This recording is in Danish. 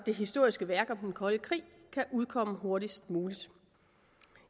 det historiske værk om den kolde krig kan udkomme hurtigst muligt